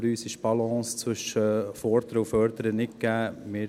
Für uns ist die Balance zwischen Fordern und Fördern nicht gegeben.